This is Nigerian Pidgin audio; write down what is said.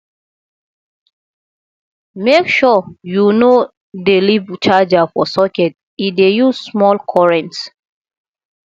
make sure you no dey leave charger for socket e dey use small current